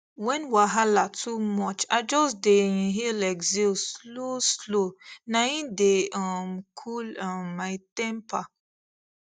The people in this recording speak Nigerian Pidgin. when wahala too much i just dey inhaleexhale slow slow na im dey um cool um my temper